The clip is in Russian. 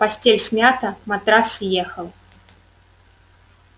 постель смята матрас съехал